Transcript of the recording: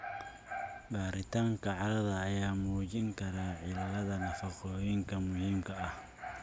Baaritaanka carrada ayaa muujin kara cilladaha nafaqooyinka muhiimka ah.